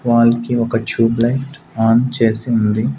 Wall కి ఒక tube light on చేసి ఉంది.